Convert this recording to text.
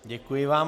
Děkuji vám.